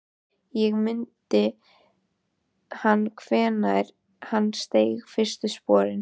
Ekki mundi hann hvenær hann steig fyrstu sporin.